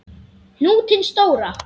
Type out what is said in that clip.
Hnútinn stóra.